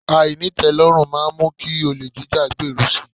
Àìní ìtẹ́lọ́rùn máa mú kí olè jíjá gbèrú si.